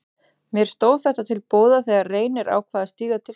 Mér stóð þetta til boða þegar Reynir ákvað að stíga til hliðar.